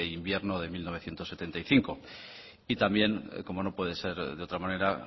invierno de mil novecientos setenta y cinco y también como no puede ser de otra manera